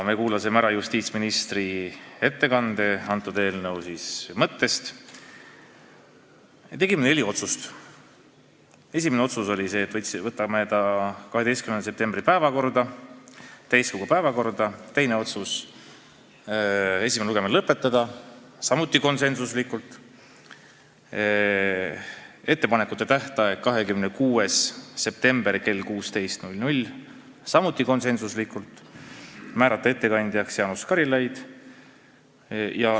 Me kuulasime ära justiitsministri ettekande eelnõu mõtte kohta ja tegime neli otsust: esiteks teha ettepanek võtta eelnõu 12. septembri täiskogu päevakorda, teiseks teha ettepanek esimene lugemine lõpetada , määrata ettepanekute tähtajaks 26. september kell 16 ja ettekandjaks Jaanus Karilaid .